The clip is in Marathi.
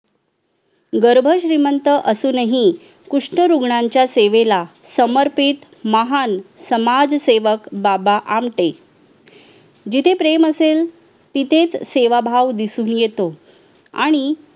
गर्भ श्रीमंत असूनही कुष्ठ रुग्णांच्या सेवेला समर्पित महान समाजसेवक बाबा आमटे जिथे प्रेम असेल तिथेच सेवाभाव दिसून येतो आणि